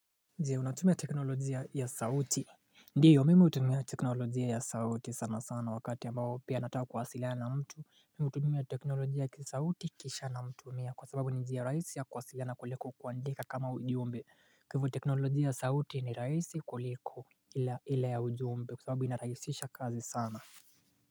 Unatumia teknolojia ya sauti ndiyo mimi hutumia teknolojia ya sauti sana sana wakati ambayo pia nataka kuwasilana mtu Mimu hutumia teknolojia ya sauti kisha na mtumia kwa sababu nijia rais ya kwasilana kuliko kwa ndeka kama ujumbe kwa hivyo teknolojia ya sauti ni rahisi kuliko ila ya ujumbe kwa sababu ina rahisisha kazi sana.